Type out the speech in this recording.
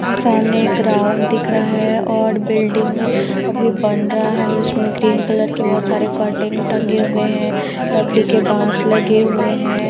ये सामने एक राउंड दिख रहा है और बिल्डिंग अभी बन रहा है जिसमें ग्रीन कलर के बहुत सारे कर्टन टंगे हुए हैं लकड़ी के बांस लगे हुए हैं।